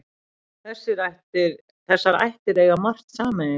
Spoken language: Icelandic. Þessar ættir eiga margt sameiginlegt.